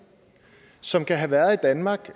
som kan have været i danmark